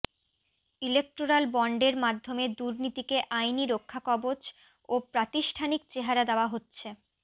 electoral বন্ডের মাধ্যমে দুর্নীতিকে আইনি রক্ষাকবচ ও প্রাতিষ্ঠানিক চেহারা দেওয়া হচ্ছে